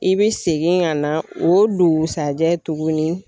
I be segin ka na o dugusajɛ tuguni